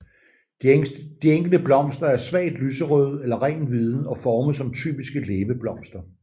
De enkelte blomster er svagt lyserøde eller rent hvide og formet som typiske læbeblomster